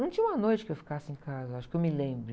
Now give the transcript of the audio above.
Não tinha uma noite que eu ficasse em casa, acho, que eu me lembre.